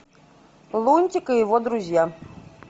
лунтик и его друзья